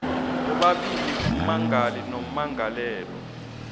bobabili ummangali nommangalelwa